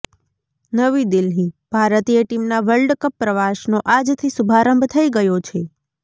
નવી દિલ્હીઃ ભારતીય ટીમના વર્લ્ડ કપ પ્રવાસનો આજથી શુભારંભ થઈ ગયો છે